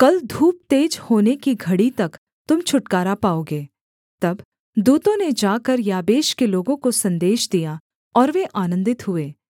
कल धूप तेज होने की घड़ी तक तुम छुटकारा पाओगे तब दूतों ने जाकर याबेश के लोगों को सन्देश दिया और वे आनन्दित हुए